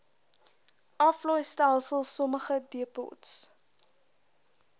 aflaaistelsel sommige depots